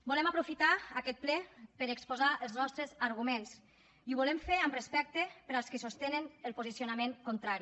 volem aprofitar aquest ple per exposar els nostres arguments i ho volem fer amb respecte per als que sostenen el posicionament contrari